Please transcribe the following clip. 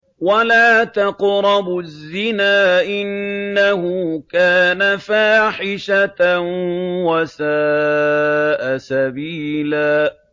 وَلَا تَقْرَبُوا الزِّنَا ۖ إِنَّهُ كَانَ فَاحِشَةً وَسَاءَ سَبِيلًا